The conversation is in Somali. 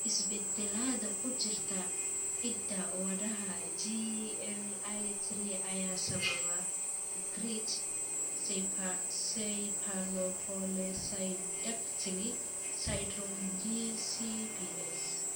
Isbeddellada ku jira hidda-wadaha GLI3 ayaa sababa Greig cephalopolysyndactyly syndrome (GCPS).